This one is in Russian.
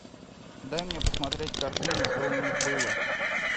дай мне посмотреть картину что у них было